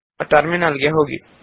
terminal ಗೆ ಹೋಗಿ